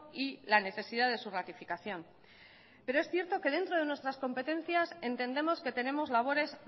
y la necesidad de su ratificación pero es cierto que dentro de nuestras competencias entendemos que tenemos labores